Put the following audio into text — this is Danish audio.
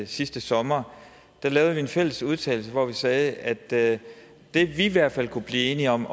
sidste sommer lavede en fælles udtalelse hvor vi sagde at det vi i hvert fald kunne blive enige om